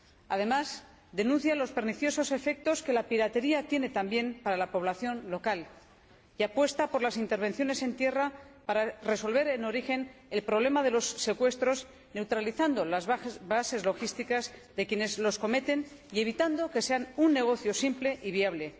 Además, denuncia los perniciosos efectos que la piratería tiene también para la población local y apuesta por las intervenciones en tierra para resolver en origen el problema de los secuestros, neutralizando las bases logísticas de quienes los cometen y evitando que sean un negocio simple y viable.